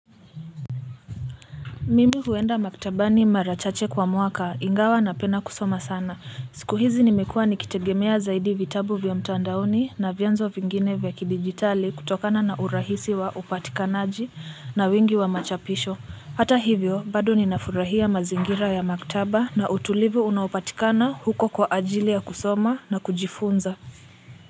Mimi huenda maktabani mara chache kwa mwaka ingawa napenda kusoma sana. Siku hizi nimekuwa nikitegemea zaidi vitabu vya mtandaoni na vyanzo vingine vya kidijitali kutokana na urahisi wa upatikanaji na wingi wa machapisho. Hata hivyo, bado ninafurahia mazingira ya maktaba na utulivu unaopatikana huko kwa ajili ya kusoma na kujifunza.